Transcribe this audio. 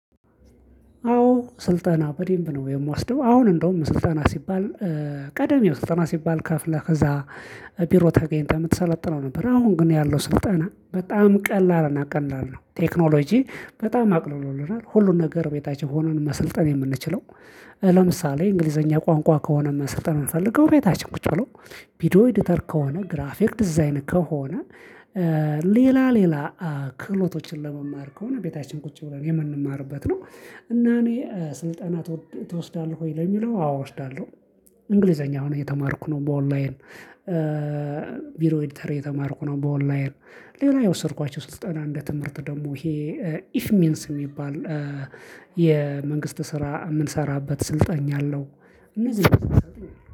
አዎ ስልጠና በደምብ ነው የምወስደው አሁን እንደውም ስልጠና ሲባል ቀደም ስልጠና ሲባል ከፍለህ ከዛ ቢሮ ተገኝተህ የምትሰለጥነው ነበር አሁን ግን ያለው ስልጠና በጣም ቀላል እና ቀላል ነው ቴክኖሎጂ በጣም አቅልሎልናል ሁሉን ነገር ቤታችን ሆነን ነው መሰልጠን የምንችለው ለምሳሌ እንግሊዘኛ ቋንቋ ከሆነ መሰልጠተን የምንፈልገው እቤታችን ቁጭ ብሎ ቪዲዮ ኤዲተር ከሆነ፣ ግራፊክ ዲዛይን ከሆነ፣ ሌላ ሌላ ክህሎቶችን ለመማር ከሆነ ቤታችን ቁጭ ብለን የምንማርበት ነው። እና እኔ ስልጠና ትወስዳለህ ወይ ለሚለው አዎ እወስዳለሁ እንግሊዘኛ አሁን እየተማርኩ ነው በኦንላይን ቢድዮ ኤዲተር እየተማርኩ ነው በኦንላይን ሌላ የወሰድኳቸው ስልጠና እንደ ትምህርት ደግሞ ይሄ ኢፍ ሚንስ የሚባል የመንግስት ስራ የምንሰራበት ስልጠና አለው